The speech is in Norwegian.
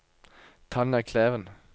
Tanja Kleven